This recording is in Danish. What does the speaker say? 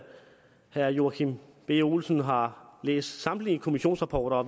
herre joachim b olsen har læst samtlige kommissionsrapporter og